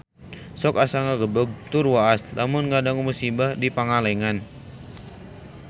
Sok asa ngagebeg tur waas lamun ngadangu musibah di Pangalengan